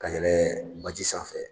Ka yɛlɛn baji sanfɛ